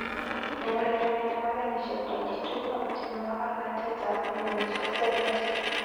Neurereni nepo genyisiek 22 ako tinye makarnaten ap milionishek 70,